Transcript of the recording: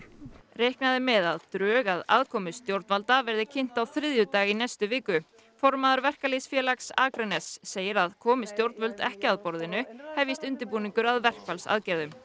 reiknað er með að drög að aðkomu stjórnvalda verði kynnt á þriðjudag í næstu viku formaður verkalýðsfélags Akraness segir að komi stjórnvöld ekki að borðinu hefjist undirbúningur að verkfallsaðgerðum